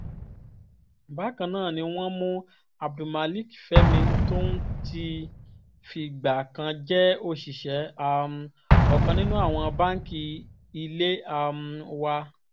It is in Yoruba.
bákan ná ni wọ́n mú abdulmalik fẹ́mi tóun ti fìgbà kan jẹ́ òṣìṣẹ́ um ọkàn nínú àwọn báǹkì ilé um wa